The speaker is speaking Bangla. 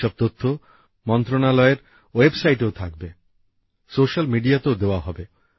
এইসব তথ্য মন্ত্রকের ওয়েব সাইটেও থাকবে সোশ্যাল মিডিয়াতেও দেওয়া হবে